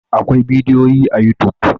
Akwai bidiyoyi a youtube.